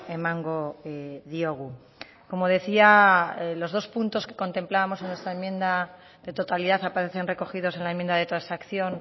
emango diogu como decía los dos puntos que contemplábamos en nuestra enmienda de totalidad aparecen recogidos en la enmienda de transacción